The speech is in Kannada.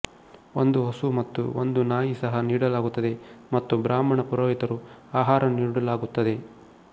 ಒಂದು ಹಸು ಮತ್ತು ಒಂದು ನಾಯಿ ಸಹ ನೀಡಲಾಗುತ್ತದೆ ಮತ್ತು ಬ್ರಾಹ್ಮಣ ಪುರೋಹಿತರು ಆಹಾರ ನೀಡಲಾಗುತ್ತದೆ